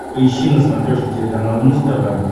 поищи на смотрешке телеканал муз тв